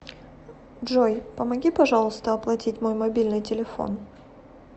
джой помоги пожалуйста оплатить мой мобильный телефон